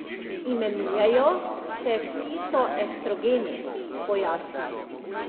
Imenujejo se fitoestrogeni, pojasni.